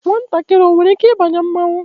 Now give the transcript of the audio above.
Nwatakịrị enwere ike ịbanye mmọnwụ?